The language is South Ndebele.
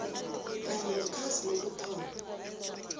kanye nekhasi lokuthoma